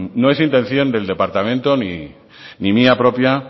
no es intención del departamento ni mía propia